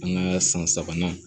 An ka san sabanan